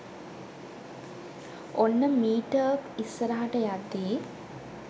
ඔන්න මීටර්ක් ඉස්සරහට යද්දී